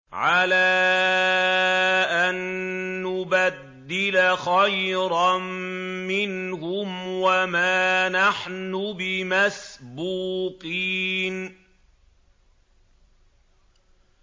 عَلَىٰ أَن نُّبَدِّلَ خَيْرًا مِّنْهُمْ وَمَا نَحْنُ بِمَسْبُوقِينَ